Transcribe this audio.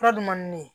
Fura dun man di ne ye